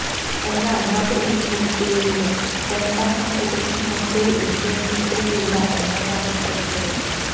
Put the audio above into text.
എന്നാൽ നാല് ഇന്നിംഗ്സുകളിലും രണ്ടക്കം തികച്ച മറ്റാരും ഇന്ത്യൻ ടീമിലില്ല എന്നതാണ് ശ്രദ്ധേയം